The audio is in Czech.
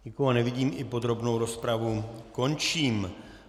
Nikoho nevidím, i podrobnou rozpravu končím.